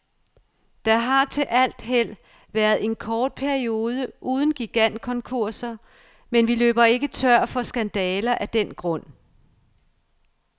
Der har til alt held været en kort periode uden gigantkonkurser, men vi løber ikke tør for skandaler af den grund.